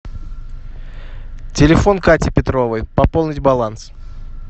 телефон кати петровой пополнить баланс